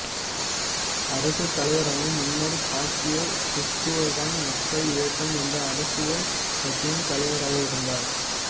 அரசுத் தலைவராகும் முன்னர் பாக்கியெவ் கிர்கிஸ்தான் மக்கள் இயக்கம் என்ற அரசியல் கட்சியின் தலைவராக இருந்தார்